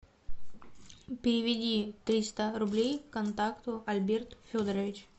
переведи триста рублей контакту альберт федорович